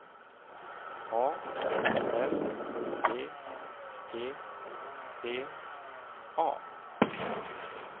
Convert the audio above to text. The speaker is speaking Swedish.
A R B E T A